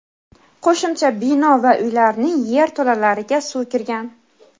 qo‘shimcha bino va uylarning yerto‘lalariga suv kirgan.